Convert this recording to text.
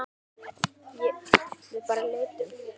Við bara leitum.